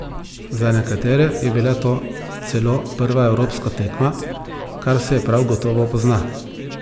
Za nekatere je bila to celo prva evropska tekma, kar se prav gotovo pozna.